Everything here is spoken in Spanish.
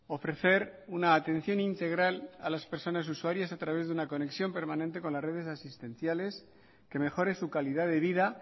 ofrecer una atención integral a las personas usuarias a través de una conexión permanente con las redes asistenciales que mejoren su calidad de vida